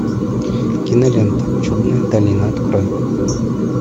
кинолента чудная долина открой